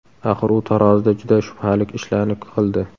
Axir u tarozida juda shubhali ishlarni qildi.